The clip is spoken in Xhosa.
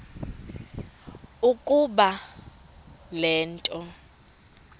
ukuba le nto